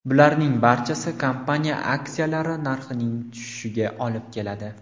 Bularning barchasi kompaniya aksiyalari narxining tushishiga olib keladi.